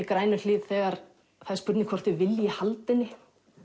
Grænuhlíð þegar það er spurning hvort þau vilji halda henni